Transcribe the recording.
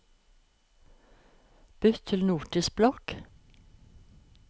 bytt til Notisblokk